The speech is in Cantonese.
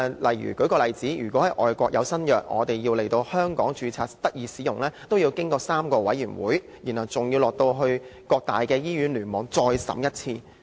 舉一個例子，外國新藥要在香港註冊，須先經過3個委員會批准，然後還要到各大醫院聯網再審一次。